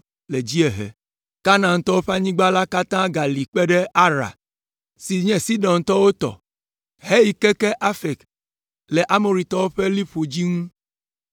le dziehe; Kanaantɔwo ƒe anyigba la katã gali kpe ɖe Ara, si nye Sidontɔwo tɔ heyi keke Afek le Amoritɔwo ƒe liƒo dzi ŋu.